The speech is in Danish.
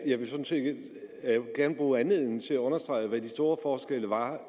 jeg vil sådan set gerne bruge anledningen til at understrege hvad de store forskelle var